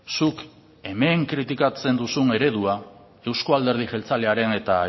zuk hemen kritikatzen duzun eredua euzko alderdi jeltzalearen eta